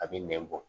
A bɛ nɛn bɔ